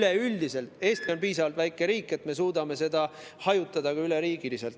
Aga üleüldiselt on Eesti piisavalt väike riik, me suudame neid üle riigi hajutada.